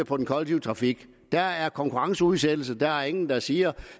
for den kollektive trafik der er konkurrenceudsættelse og der er ingen der siger